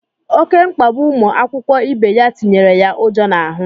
Oké mkpagbu ụmụ akwụkwọ ibe ya tinyere ya ụjọ n'ahụ.